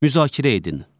Müzakirə edin.